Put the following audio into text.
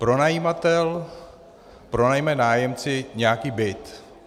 Pronajímatel pronajme nájemci nějaký byt.